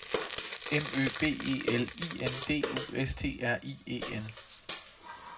M Ø B E L I N D U S T R I E N